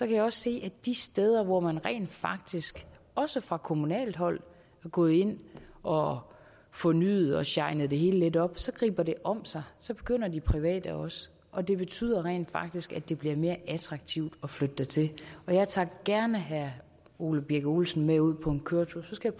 jeg se at de steder hvor man rent faktisk også fra kommunalt hold er gået ind og har fornyet og shinet det hele lidt op griber det om sig så begynder de private også og det betyder rent faktisk at det bliver mere attraktivt at flytte dertil jeg tager gerne herre ole birk olesen med ud på en køretur så skal